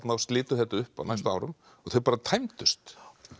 og slitu þetta upp á næstu árum þau bara tæmdust